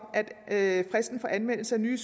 at fristen for anmeldelse af nye